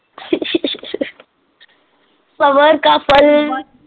ਸਬਰ ਕਾ ਫੱਲ।